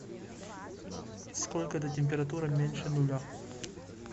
сколько до температуры меньше нуля